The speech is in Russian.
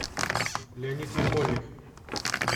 леонид ярмольник